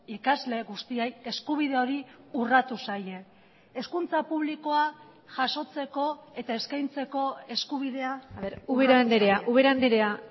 ikasle guztiei eskubide hori urratu zaie hezkuntza publikoa jasotzeko eta eskaintzeko eskubidea ubera andrea ubera andrea